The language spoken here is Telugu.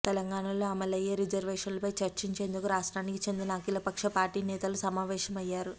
తెలంగాణలో అమలయ్యో రిజర్వేషన్లపై చర్చించేందుకు రాష్ట్రానికి చెందిన అఖిల పక్ష పార్టీల నేతలు సమావేశం అయ్యారు